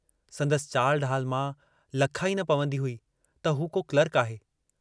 संदसि चाल ढाल मां लखा ई न पवंदी हुई त हू को क्लार्क आहे।